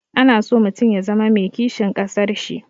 Ana so mutum ya zama mai kishin ƙasar shi.